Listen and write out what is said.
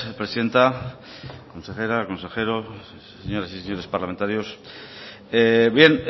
presidenta consejera consejeros señoras y señores parlamentarios bien